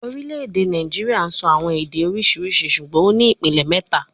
Orile-ede Naijiria sọ awọn ede oriṣiriṣi ṣugbọn o ni ipilẹ mẹta